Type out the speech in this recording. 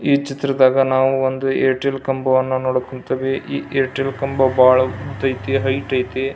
ಈ ಚಿತ್ರದಾಗ ನಾವು ಒಂದು ಏರ್ಟೆಲ್ ಕಂಬವನ್ನು ನೋಡಕ್ ಕುಂತೀವಿ ಈ ಏರ್ಟೆಲ್ ಕಂಬ ಭಾಳ ಉದ್ದ ಐತಿ ಹೈಟ್ ಐತಿ.